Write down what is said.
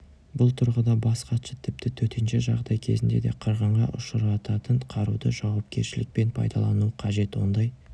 бұл тұрғыда бас хатшы тіпті төтенше жағдай кезінде де қырғынға ұшырататын қаруды жауакершілікпен пайдалану қажет ондай